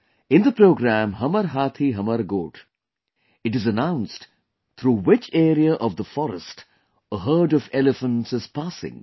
In the program 'Hamar Hathi Hamar Goth' it is announced through which area of the forest a herd of elephants is passing